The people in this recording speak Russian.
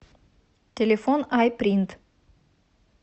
телефон айпринт